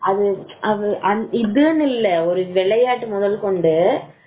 அது இதுன்னு இல்லை விளையாட்டு முதல் கொண்டு